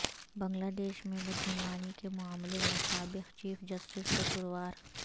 بنگلہ دیش میں بدعنوانی کے معاملے میں سابق چیف جسٹس قصوروار